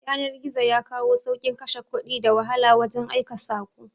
Yanar-gizo yakawo saukin Ƙashe Ƙudi da wahala wajan aika sako